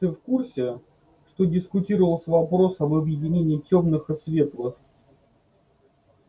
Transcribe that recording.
ты в курсе что дискутировался вопрос об объединении тёмных и светлых